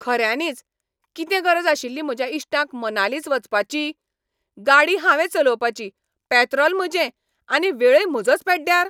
खऱ्यांनीच, कितें गरज आशिल्ली म्हज्या इश्टांक मनालीच वचपाची? गाडी हावें चलोवपाची, पॅत्रॉल म्हजें आनी वेळय म्हजोच पॅड्ड्यार.